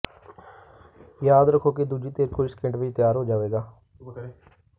ਯਾਦ ਰੱਖੋ ਕਿ ਦੂਜੀ ਧਿਰ ਕੁਝ ਸਕਿੰਟ ਵਿਚ ਤਿਆਰ ਹੋ ਜਾਵੇਗਾ